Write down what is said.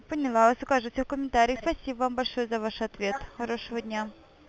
поняла вас укажете в комментариях спасибо вам большое за ваш ответ хорошего дня